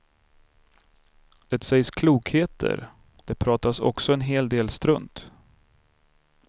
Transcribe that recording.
Det sägs klokheter, det pratas också en hel del strunt.